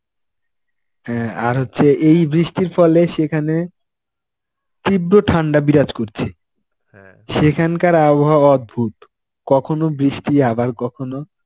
হ্যাঁ, আর হচ্ছে এই বৃষ্টির ফলে সেখানে, তীব্র ঠান্ডা বিরাজ করছে. সেখানকার আবহাওয়া অদ্ভুত, কখনো বৃষ্টি আবার কখনো